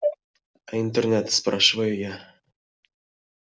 а интернет спрашиваю я